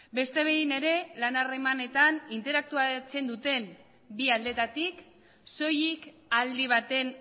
beste behin ere lan harremanetan interaktuatzen duten bi aldeetatik soilik aldi baten